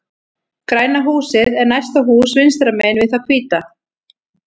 Græna húsið er næsta hús vinstra megin við það hvíta.